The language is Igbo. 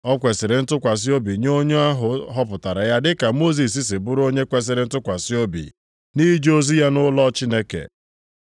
O kwesiri ntụkwasị obi nye onye ahụ họpụtara ya dịka Mosis si bụrụ onye kwesiri ntụkwasị obi nʼije ozi ya nʼụlọ Chineke.